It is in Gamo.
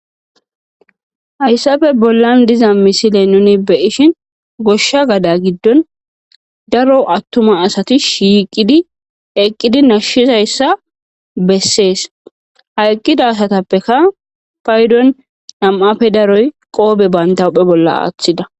hayssafe bollan diza misile nuni beyishin goshsha gada giddon daro attuma asati shiiqidi eqqidi nashshizayssa bessees ha eqqida asatappeka paydon nam7appe daroy qoobe bandawuphe bolla aaththida